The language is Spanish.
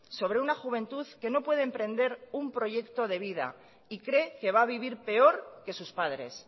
sobre una juventud que no puede emprender un proyecto de vida y cree que va vivir peor que sus padres